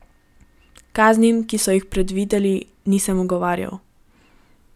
Kaznim, ki so jih predvideli, nisem ugovarjal.